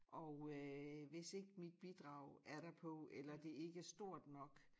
Og øh hvis ikke mit bidrag er derpå eller det ikke er stort nok